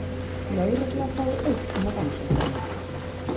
Lögregla fái auknar rannsóknarheimildir